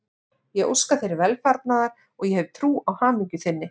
Ég óska þér velfarnaðar og ég hef trú á hamingju þinni.